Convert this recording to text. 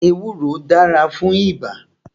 Ewúro dára fún ibà